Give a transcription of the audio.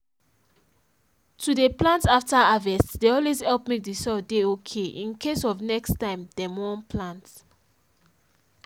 we dey make heaps for where go down so water no go dey rush flow and e go dey enter ground well